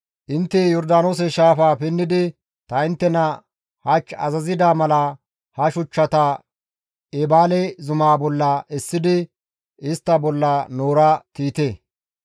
Intte Yordaanoose shaafaa pinnidi ta inttena hach azazida mala he shuchchata Eebaale zumaa bolla essidi istta bolla noora tiyite.